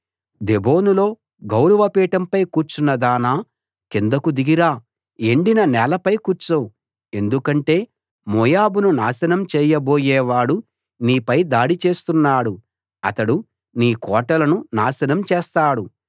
దేబోనులో గౌరవపీఠంపై కూర్చున్నదానా కిందకు దిగి రా ఎండిన నేలపై కూర్చో ఎందుకంటే మోయాబును నాశనం చేయబోయే వాడు నీపై దాడి చేస్తున్నాడు అతడు నీ కోటలను నాశనం చేస్తాడు